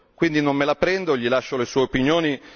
Quindi non me la prendo gli lascio le sue opinioni.